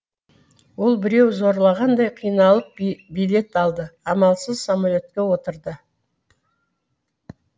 ол біреу зорлағандай қиналып билет алды амалсыз самолетке отырды